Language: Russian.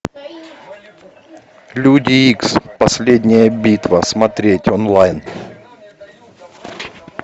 люди икс последняя битва смотреть онлайн